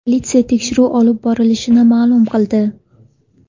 Politsiya tekshiruv olib borilishini ma’lum qildi.